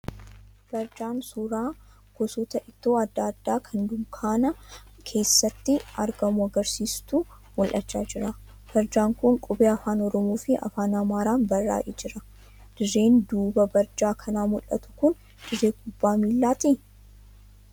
Barjaa suuraa gosoota ittoo adda addaa kan dunkaana keessatti gurguramu agarsiisutu mul'achaa jira. Barjaan kun qubee afaan Oromoo fi afaan Amaaraan barraa'ee jira. Dirreen duuba barjaa kanaa mul'atu kun dirree kubbaa miillaatii?